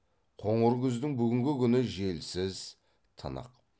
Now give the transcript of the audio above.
қоңыр күздің бүгінгі күні желсіз тынық